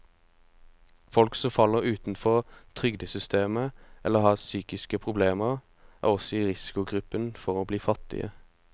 Folk som faller utenfor trygdesystemet eller har psykiske problemer, er også i risikogruppen for å bli fattige.